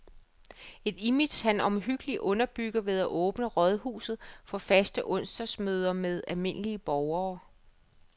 Et image, han omhyggeligt underbygger ved at åbne rådhuset for faste onsdagsmøder med almindelige borgere.